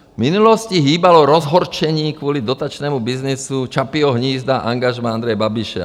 V minulosti hýbalo rozhořčení kvůli dotačnímu byznysu Čapího hnízda angažmá Andreje Babiše.